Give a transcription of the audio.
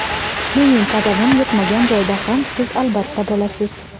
Mening qadamim yetmagan joyda ham siz albatta bo‘lasiz.